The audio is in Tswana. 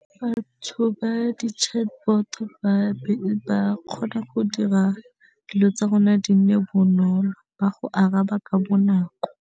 Batho ba di-chatbot ba be ba kgona go dira dilo tsa rona di nne bonolo ba go araba ka bonako.